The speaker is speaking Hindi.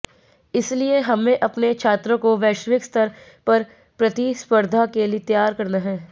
इसलिए हमे अपने छात्रों को वैश्विक स्तर पर प्रतिस्पर्धा के लिए तैयार करना है